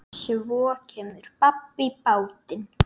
Svo kemur babb í bátinn.